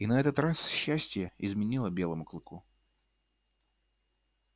и на этот раз счастье изменило белому клыку